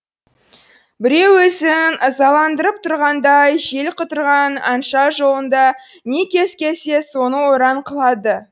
біреу өзін ызаландырып тұрғандай жел құтырған аңша жолында не кез келсе соны ойран қылады